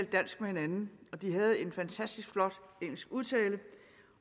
dansk med hinanden og de havde en fantastisk flot engelsk udtale